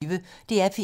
DR P1